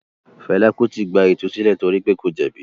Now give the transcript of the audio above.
Fela Kuti “ gba ìtúsílẹ̀ torí pé kò jẹ̀bi”.